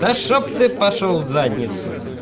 да чтоб ты пошёл в задницу